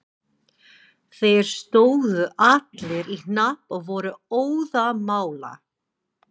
Þeir stóðu allir í hnapp og voru óðamála.